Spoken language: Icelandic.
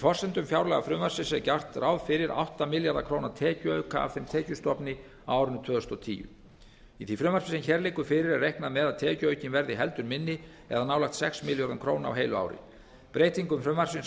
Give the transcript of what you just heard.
forsendum fjárlagafrumvarps er gert ráð fyrir átta milljarða króna tekjuauka af þeim tekjustofni á árinu tvö þúsund og tíu í því frumvarpi sem hér liggur fyrir er reiknað með að tekjuaukinn verði heldur minni eða nálægt sex milljörðum króna á heilu ári breytingum frumvarpsins á